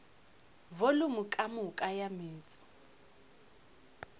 volumo ka moka ya meetse